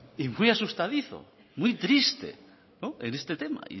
y muy asustadizo muy triste en este tema